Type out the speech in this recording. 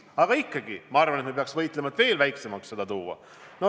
Aga ikkagi, ma arvan, et me peaksime võitlema, et seda veelgi vähendada.